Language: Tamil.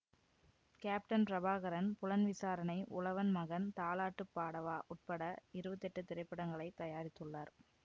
கேப்டன் பிரபாகரன் புலன்விசாரணை உழவன் மகன் தாலாட்டுப் பாடவா உட்பட இருவத்தி எட்டு திரைப்படங்களை தயாரித்துள்ளார்